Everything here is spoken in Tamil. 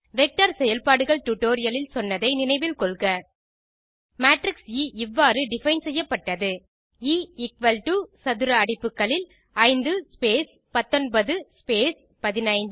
வெக்டர் செயல்பாடுள் டியூட்டோரியல் இல் சொன்னதை நினைவில் கொள்க மேட்ரிக்ஸ் எ இவ்வாறு டிஃபைன் செய்யப்பட்டது எ எக்குவல் டோ சதுர அடைப்புகளில் 5 ஸ்பேஸ் 19 ஸ்பேஸ் 15